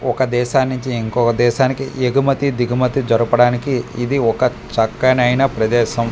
ఒక దేశానుంచి ఇంకొక దేశానికి ఎగుమతి దిగుమతి జరపడానికి ఇది ఒక చక్కనైన ప్రదేశం.